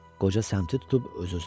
Qoca səmtini tutub öz-özünə dedi.